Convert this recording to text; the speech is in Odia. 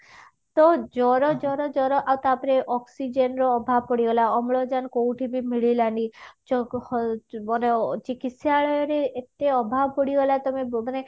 ଜର ଜର ଜର ଆଉ ତା ପରେ oxygen ର ଅଭାବ ପଡିଗଲା ଅମ୍ଳଜାନ କୋଉଠି ବି ମିଳିଲାନି ଚିକିତ୍ସାଳୟ ରେ ଏରତେ ଅଭାବ ପଡିଗଲା ତମେ ମାନେ